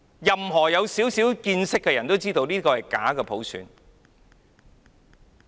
有少許見識的人都知道，這是假普選。